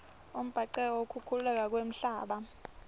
imbhanqeca yekukhukhuleka kwemhlaba